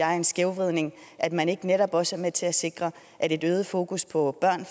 er en skævvridning at man ikke netop også er med til at sikre at et øget fokus på